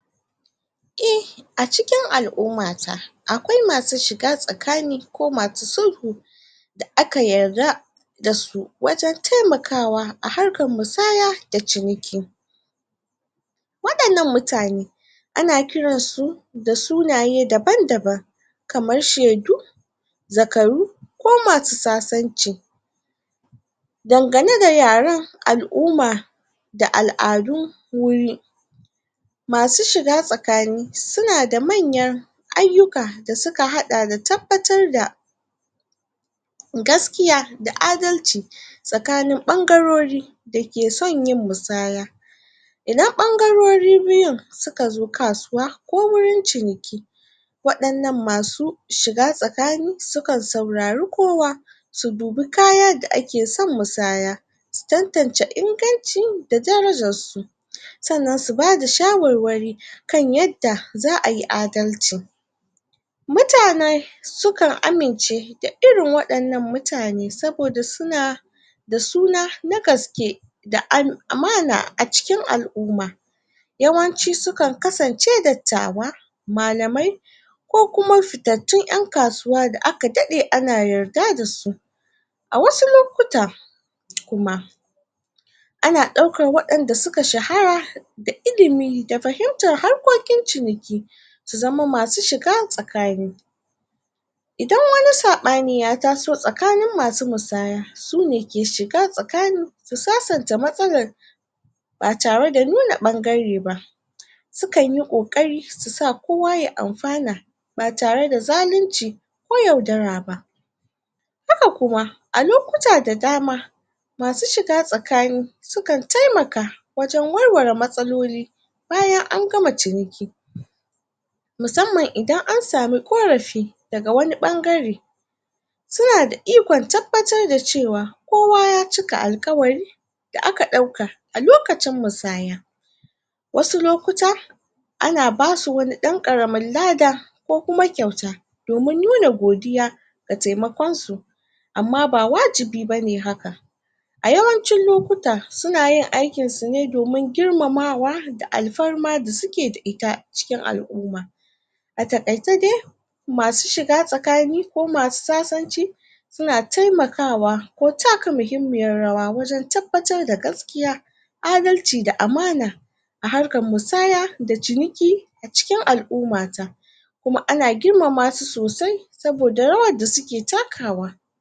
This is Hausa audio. e a cikin al'umata akwai masu shiga tsakani ko masu sulhu da aka yarda dasu wajen taimakawa a harkar musaya da ciniki waɗannan mutane ana kiran su da sunaye daban daban kamar shedu zakaru ko masu sasanci dangane da yaren al'uma da al'adun wuri masu shiga tsakani suna da manyan aiyuka da suka haɗa da tabbatar da gaskiya da adalci tsakanin ɓangarori dake son yin musaya idan ɓangarori biyun suka zo kasuwa ko wurin ciniki waɗannan masu shiga tsakani sukan saurari kowa su dubi kaya da ake son musaya su tantance inganci da darajar su? sannan su bada shawarwari kan yadda za'ayi adalci mutane sukan amince da irin waɗannan mutane saboda suna da suna na gaske da an amana a cikin al'uma yawanci sukan kasance dattawa malamai ko kuma fitattun ƴan kasuwa da aka daɗe ana yarda dasu a wasu lokuta? kuma ana ɗaukar waɗanda suka shahara da ilimi da fahimtar harkokin ciniki su zama masu shiga tsakani idan wani saɓani ya taso tsakanin masu musaya sune ke shiga tsakani su sasanta matsalar ba tare da nuna ɓangare ba? sukan yi ƙoƙari su sa kowa ya anfana ba tare da zalunci ko yaudara ba haka kuma a lokuta da dama masu shiga tsakani sukan taimaka wajen warware matsaloli bayan an gama ciniki musamman idan an samu ƙorafi daga wani ɓangare suna da ikon tabbatar da cewa kowa ya cika alƙawari da aka ɗauka a lokacin musaya wasu lokuta ana basu wani ɗan ƙaramin lada ko kuma kyauta domin nuna godiya da taimakonsu amma ba wajibi bane haka a yawancin lokuta suna yin aikinsu ne domin girmamawa da alfarma da suke da ita cikin al'uma a taƙaice dai masu shiga tsakani ko masu sasanci suna taimakawa ko taka mahimmiyar rawa wajen tabbatar da gaskiya adalci da amana a harkar musaya da ciniki a cikin al'uma ta kuma ana girmama su sosai saboda rawar da suke takawa